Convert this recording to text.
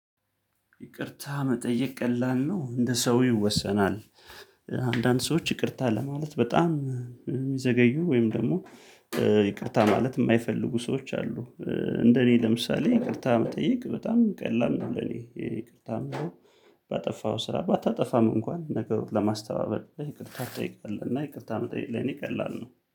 ይቅርታ መጠየቅ ቀላል ነው እንደ ሰው ይወሰናል። አንዳንድ ሰዎች ይቅርታ ለማለት በጣም የሚዘገዩ ወይም ደግሞ ይቅርታ ማለት የማይፈልጉ ሰዎች አሉ። እንደኔ ለምሳሌ ይቅርታ መጠየቅ በጣም ቀላል ነው። ለኔ ይቅርታ የምለው። ባጠፋው ስራ ባታጠፋም እንኳን ነገሮች ለማስተባበል ይቅርታ ትጠይቃለህ እና ይቅርታ መጠየቅ ላይ እኔ ቀላል ነው።